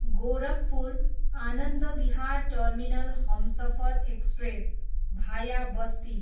Gorakhpur, Anand Vihar terminal Humsafar express, भाया बस्ती